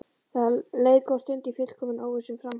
Það leið góð stund í fullkominni óvissu um framhaldið.